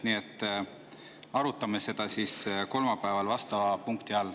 Nii et arutame seda kolmapäeval vastava punkti all.